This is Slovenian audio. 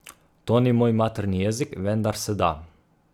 To ni moj materni jezik, vendar se da.